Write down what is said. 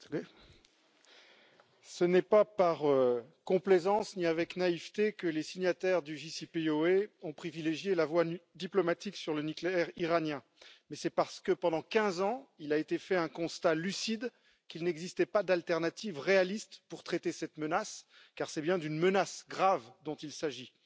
Monsieur le Président, ce n'est pas par complaisance ni avec naïveté que les signataires du JCPOA ont privilégié la voie diplomatique sur le nucléaire iranien, mais c'est parce que pendant 15 ans, il a été fait un constat lucide, à savoir qu'il n'existait pas d'alternative réaliste pour traiter cette menace, car c'est bien d'une menace grave dont il s'agit.